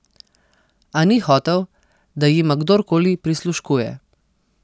A ni hotel, da jima kdorkoli prisluškuje.